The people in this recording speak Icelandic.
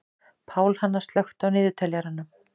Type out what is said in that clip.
Pálhanna, slökktu á niðurteljaranum.